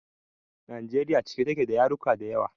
Najeriya cike take da yaruka dayawa